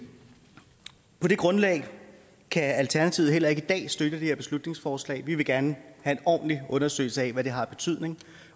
på det grundlag kan alternativet heller ikke i dag støtte det her beslutningsforslag vi vil gerne have en ordentlig undersøgelse af hvad det har af betydning